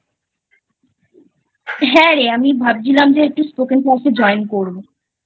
হ্যাঁ রে আমি ভাবছিলাম যে একটু Spoken class এ Join করবোI